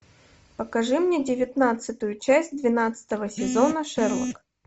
покажи мне девятнадцатую часть двенадцатого сезона шерлок